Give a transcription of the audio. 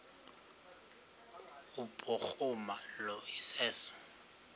kubhuruma lo iseso